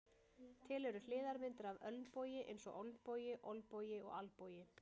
Til eru hliðarmyndir af ölnbogi eins og olnbogi, olbogi og albogi.